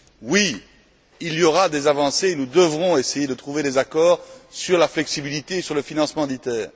Oui, il y aura des avancées et nous devrons essayer de trouver des accords sur la flexibilité et sur le financement d'ITER.